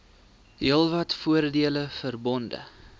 heelwat voordele verbonde